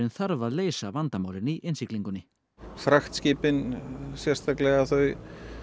þarf að leysa vandamálin í innsiglingunni fraktskipin sérstaklega þau